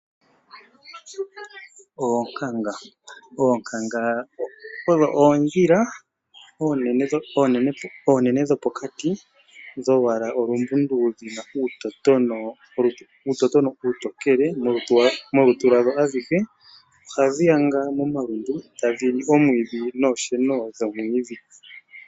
Oonkanga odho oondhila oonene dhopokato dholwaala olumbundu dhina uutotono uutokele molutu lwadho aluhe. Ohadhi yanga momalundu tadhi li omwiidhi noosheno dhomwiidhi.